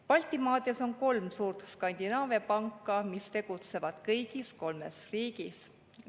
Baltimaades on kolm suurt Skandinaavia panka, mis tegutsevad kõigis kolmes riigis.